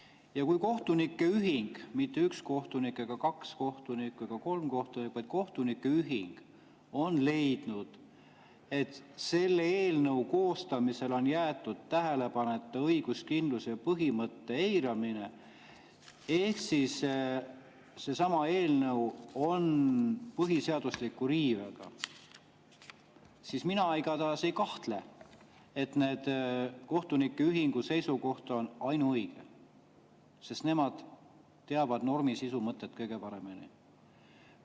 Ja kui kohtunike ühing, mitte üks kohtunik ega kaks kohtunikku ega kolm kohtunikku, vaid kohtunike ühing on leidnud, et selle eelnõu koostamisel on jäetud tähele panemata õiguskindluse põhimõtte eiramine, ehk siis seesama eelnõu on põhiseaduse riivega, siis mina igatahes ei kahtle, et see kohtunike ühingu seisukoht on ainuõige, sest nemad teavad normi sisu mõtet kõige paremini.